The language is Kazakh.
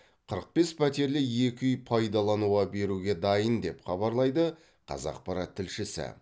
қырық бес пәтерлі екі үй пайдалануға беруге дайын деп хабарлайды қазақпарат тілшісі